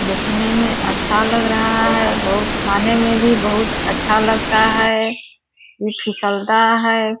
देखने में अच्छा लग रहा है बहुत खाने में भी बहुत अच्छा लगता है ये फिसलता है।